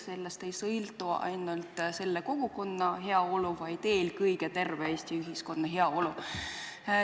Sellest ei sõltu ainult selle kogukonna heaolu, vaid eelkõige terve Eesti ühiskonna heaolu.